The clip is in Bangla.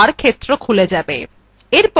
এত়ে location bar ক্ষেত্র খুলে যাবে